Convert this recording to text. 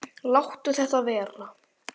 Láttu þetta vera!